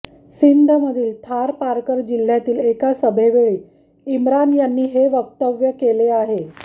सिंधमधील थारपारकर जिल्ह्यातील एका सभेवेळी इम्रान यांनी हे वक्तव्य केले आहे